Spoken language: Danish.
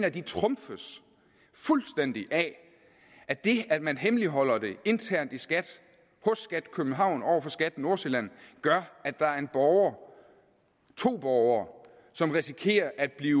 at de trumfes fuldstændig af at det at man hemmeligholder det internt i skat hos skat københavn over for skat nordsjælland gør at der er en borger to borgere som risikerer at blive